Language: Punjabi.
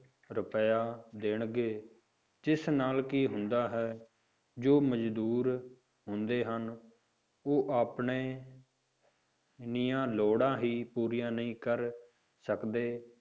ਰੁਪਇਆ ਦੇਣਗੇ, ਜਿਸ ਨਾਲ ਕੀ ਹੁੰਦਾ ਹੈ, ਜੋ ਮਜ਼ਦੂਰ ਹੁੰਦੇ ਹਨ ਉਹ ਆਪਣੇ ਨੀਆਂ ਲੋੜ੍ਹਾਂ ਹੀ ਪੂਰੀਆਂ ਨਹੀਂ ਕਰ ਸਕਦੇ,